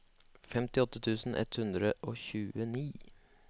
femtiåtte tusen ett hundre og tjueni